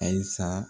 Ayi sa